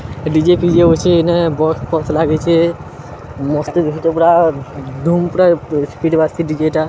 DJ ଫିଜେ ବସେ ଏନା ବସ୍-ଫସ୍ ଲାଗିଛେ। ମସ୍ତ ଦେଖତେପୁରା ଧୁମ୍ ପୁରା ସ୍ପିଡ୍ ବାଜିଛି ଡି_ଜେ ଟା।